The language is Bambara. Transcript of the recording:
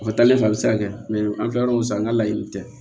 O taalen fɛ a bɛ se ka kɛ an filɛ yɔrɔ min san an ka laɲini tɛ